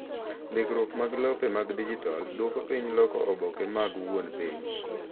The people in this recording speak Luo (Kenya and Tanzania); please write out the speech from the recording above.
Ndikruok mag lope mag dijital dwoko piny loko oboke mag wuon piny